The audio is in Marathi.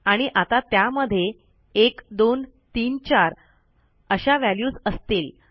आणि आता त्यामध्ये 1234 अशा व्हॅल्यूज असतील